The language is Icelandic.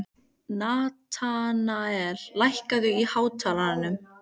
Natanael, lækkaðu í hátalaranum.